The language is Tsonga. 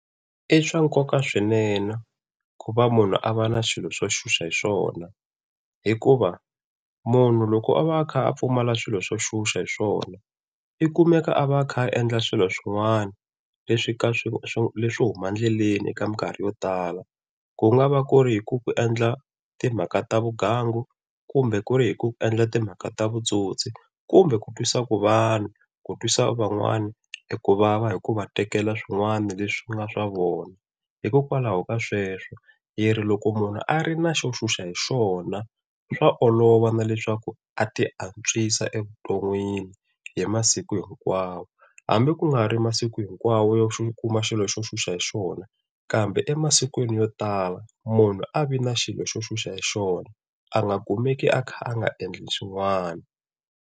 I swa nkoka swinene ku va munhu a va na swilo swo xuxa hi swona, hikuva munhu loko a va a kha a pfumala swilo swo xuxa hi swona i kumeka a va a kha a endla swilo swin'wana leswi ka swo huma endleleni eka mikarhi yo tala. Ku nga va ku ri hi ku ku endla timhaka ta vugangu kumbe ku ri hi ku endla timhaka ta vutsotsi kumbe ku twisa ku twisa van'wana hi ku vava hi ku va tekela swin'wana leswi nga swa vona. Hikokwalaho ka sweswo hi ri loko munhu a ri na xo xuxa hi xona, swa olova na leswaku a tiantswisa evuton'wini hi masiku hinkwawo, hambi ku nga ri masiku hinkwawo xo kuma xilo xo xuxa hi xona kambe emasikwinj yo tala munhu a vi na xilo xo xuxa hi xona a nga kumeki a kha a nga endli xin'wana.